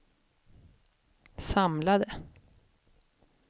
samlade